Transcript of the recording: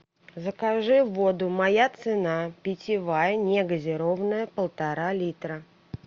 закажи воду моя цена питьевая негазированная полтора литра